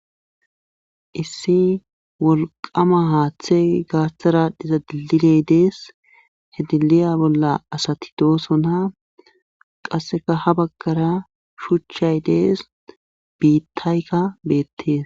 Issi wolqama haaththey gaaththaraadhiza dililey dees hediliya bolla asati doosona qasseka ha baggara shuchchay dees biittayka beettees.